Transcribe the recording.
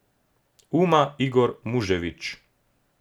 Uma Igor Muževič.